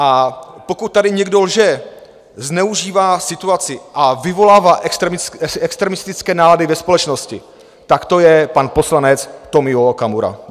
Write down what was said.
A pokud tady někdo lže, zneužívá situaci a vyvolává extremistické nálady ve společnosti, tak to je pan poslanec Tomio Okamura.